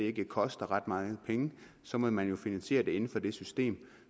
ikke koster ret mange penge så må man jo finansiere det inden for det system